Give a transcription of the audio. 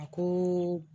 A ko